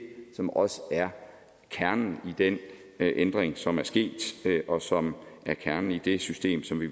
som også er kernen i den ændring som er sket og som er kernen i det system som vi